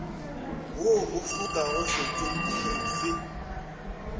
wo o fokago setsopolweng se